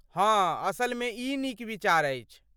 हँ, असलमे ई नीक विचार अछि।